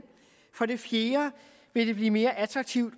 for det fjerde vil det blive mere attraktivt